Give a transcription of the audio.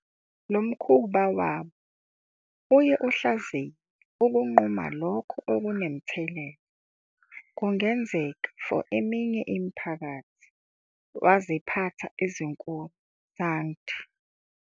Lomkhuba barnstar iye ihlaziye ukunquma lokho kunemithelela kungenzeka for ezinye imiphakathi waziphatha ezinkulu Sangdi.